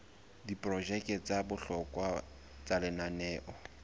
diprojeke tsa bohlokwa tsa lenaneo